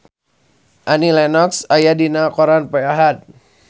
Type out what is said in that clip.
Annie Lenox aya dina koran poe Ahad